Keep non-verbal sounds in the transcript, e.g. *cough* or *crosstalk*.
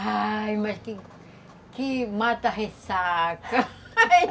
Ai, mas que que mata-ressaca. *laughs*